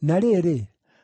Na rĩrĩ,